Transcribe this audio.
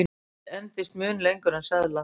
mynt endist mun lengur en seðlar